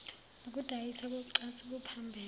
nokudayiswa kocansi kuphambene